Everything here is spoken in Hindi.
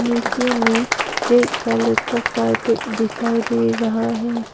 नीचे में रेड कलर का कारपेट दिखाई दे रहा है।